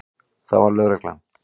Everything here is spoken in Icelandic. Það var lögreglan.